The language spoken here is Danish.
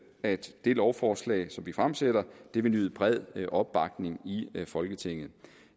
at det lovforslag som vi fremsætter vil nyde bred opbakning i folketinget